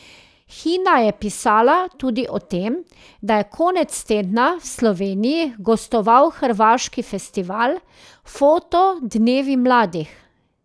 Hina je pisala tudi o tem, da je konec tedna v Sloveniji gostoval hrvaški festival Foto dnevi mladih.